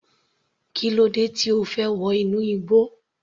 Kílódé tí O fẹ́ wọ inú igbó.